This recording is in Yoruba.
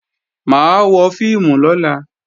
Mà á wọ fíìmù lọ́la